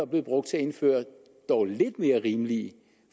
bliver brugt til at indføre dog lidt mere rimelige